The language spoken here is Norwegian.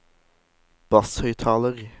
basshøyttaler